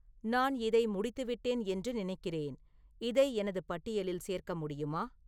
நான் இதை முடித்துவிட்டேன் என்று நினைக்கிறேன் இதை எனது பட்டியலில் சேர்க்க முடியுமா